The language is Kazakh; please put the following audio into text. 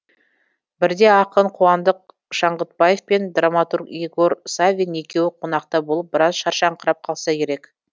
бірде ақын қуандық шаңғытбаев пен драматург игорь саввин екеуі қонақта болып біраз шаршаңқырап қалса керек